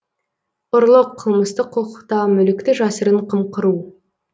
ұрлық қылмыстық құқықта мүлікті жасырын қымқыру